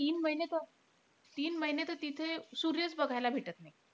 तीन महिने तर तीन महिने तर तिथं सूर्यचं बघायला भेटत नाई.